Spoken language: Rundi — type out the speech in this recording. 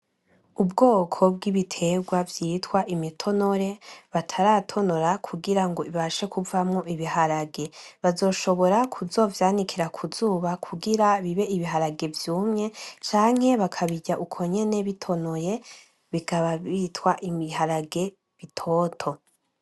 Ubwoko bw'ibiterwa vyitwa imitonore bataratonora kugirango ibashe kuvamwo Ibiharage, bazoshobora kuzovyanikira k'izuba kugira bibe Ibiharage vyumye canke bakabirya uko nyene bitonoye bikaba vyitwa Ibiharage bitoto.